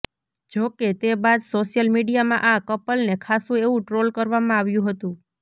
જો કે તે બાદ સોશિયલ મીડિયામાં આ કપલને ખાસ્સું એવું ટ્રોલ કરવામાં આવ્યું હતું